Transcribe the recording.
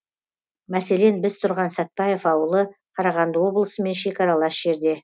мәселен біз тұрған сәтбаев ауылы қарағанды облысымен шекаралас жерде